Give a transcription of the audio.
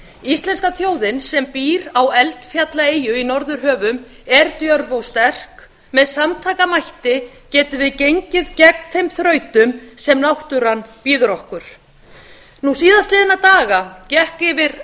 íslenska þjóðin sem býr á eldfjallaeyju í norðurhöfum er djörf og sterk með samtakamætti getum við gengið gegn þeim þrautum sem náttúran býður okkar nú síðastliðna daga gekk